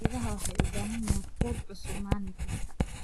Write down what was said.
Idaha waxay u baahan yihiin quud cusub maalin kasta.